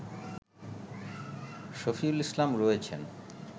শাফিউল ইসলাম রয়েছেন